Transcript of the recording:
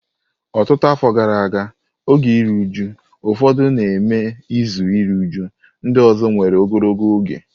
Ọtụtụ afọ gara aga, oge iru uju ụfọdụ na-eme izu iru újú; ndị ọzọ nwere ogologo oge.